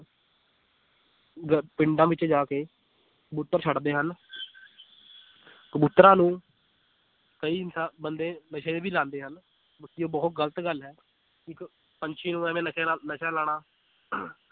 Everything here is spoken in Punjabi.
ਗ ਪਿੰਡਾਂ ਵਿੱਚ ਜਾ ਕੇ ਕਬੂਤਰ ਛੱਡਦੇ ਹਨ ਕਬੂਤਰਾਂ ਨੂੰ ਕਈ ਇਨਸਾ ਬੰਦੇ ਨਸ਼ੇ ਵੀ ਲਾਉਂਦੇ ਹਨ, ਇਹ ਬਹੁਤ ਗ਼ਲਤ ਗੱਲ ਹੈ ਇੱਕ ਪੰਛੀ ਨੂੰ ਇਵੇਂ ਨਸ਼ਾ ਲਾਉਣਾ